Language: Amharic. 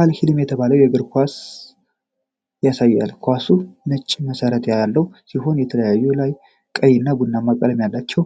"አል-ሂልም" የተባለውን የእግር ኳስ ኳስ ያሳያል። ኳሱ ነጭ መሠረት ያለው ሲሆን በላዩ ላይ ቀይ እና ቡናማ ቀለም ያላቸው